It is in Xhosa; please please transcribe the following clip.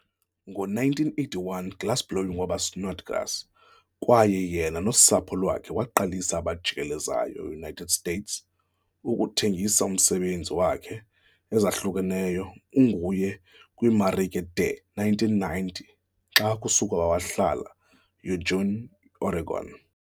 Ngowe-1981 glassblowing waba Snodgrass' kwaye yena nosapho lwakhe waqalisa abajikelezayo-United States, kuthengiswa umsebenzi wakhe e ezahlukeneyo unguye kwiimarike de 1990 xa sukuba wahlala Eugene, Oregon.